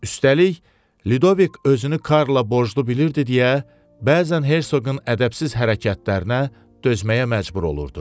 Üstəlik, Ludovik özünü Karlla borclu bilirdi deyə, bəzən hersoqun ədəbsiz hərəkətlərinə dözməyə məcbur olurdu.